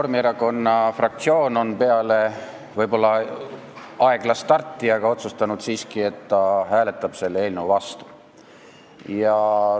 Reformierakonna fraktsioon on peale võib-olla aeglast starti siiski otsustanud, et ta hääletab selle eelnõu vastu.